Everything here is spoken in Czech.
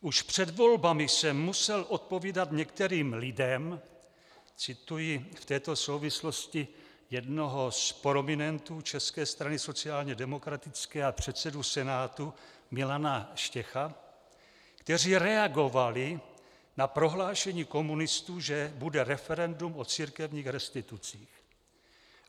Už před volbami jsem musel odpovídat některým lidem - cituji v této souvislosti jednoho z prominentů České strany sociálně demokratické a předsedu Senátu Milana Štěcha -, kteří reagovali na prohlášení komunistů, že bude referendum o církevních restitucích.